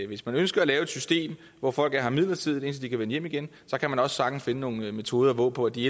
hvis man ønsker at lave et system hvor folk er her midlertidigt indtil de kan vende hjem igen så kan man også sagtens finde nogle metoder hvorpå de i